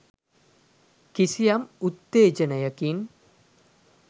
කිසියම් උත්තේජනයකින්